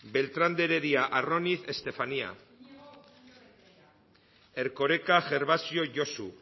beltrán de heredia arroniz estefanía erkoreka gervasio josu